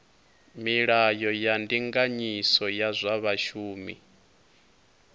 milayo ya ndinganyiso ya zwa vhashumi